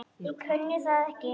Ég kunni það ekki.